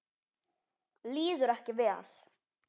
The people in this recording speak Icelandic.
Líður ekki vel.